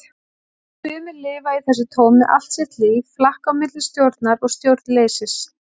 Sumir lifa í þessu tómi allt sitt líf, flakka á milli stjórnar og stjórnleysis.